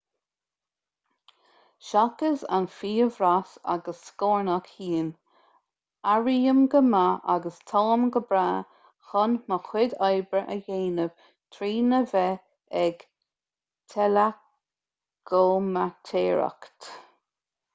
seachas an fiabhras agus scornach thinn airím go maith agus táim go breá chun mo chuid oibre a dhéanamh trína bheith ag teileachomaitéireacht